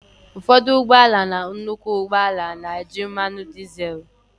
ụfọdụ ụgbọ ala na nnukwu ụgbọ ala na-eji mmanụ dizel